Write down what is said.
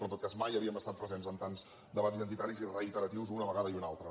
però en tot cas mai havíem estat presents en tants debats identitaris i reiteratius una vegada i una altra